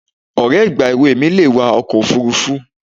Ọ̀rẹ́ ìgbà èwe mi le wa ọkọ̀ òfuurufú